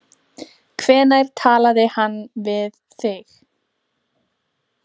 Hvenær talaði hann við þig?